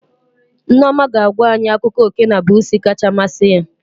Nneoma ga-agwa anyị akụkọ oké na busuu kacha masị ya